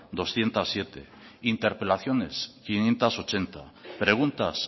doscientos siete interpelaciones quinientos ochenta preguntas